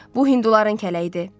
Bu Hinduların kələyidir.